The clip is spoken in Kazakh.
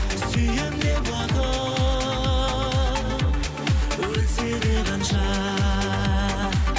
сүйемін де уақыт өтсе де қанша